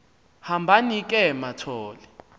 hambani ke mathol